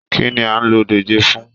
Kínní a n ló dòjé fún?